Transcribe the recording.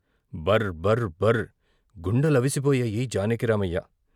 " బర్బర్ బర్ " గుండెలవిసిపోయాయి జానకిరామయ్య..